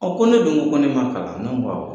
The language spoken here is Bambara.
ko ne dun ko ko ne ma kalan ne ko n ko awɔ.